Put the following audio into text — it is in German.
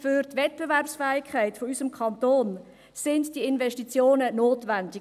Für die Wettbewerbsfähigkeit unseres Kantons sind diese Investitionen notwendig.